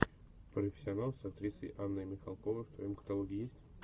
профессионал с актрисой анной михалковой в твоем каталоге есть